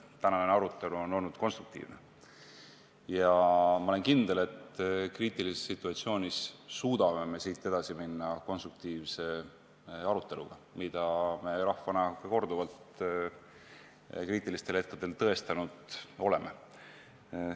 Tänane arutelu on olnud konstruktiivne ja ma olen kindel, et kriitilises situatsioonis suudame ka siit edasi minna konstruktiivse aruteluga, mida me rahvana kriitilistel hetkedel korduvalt tõestanud oleme.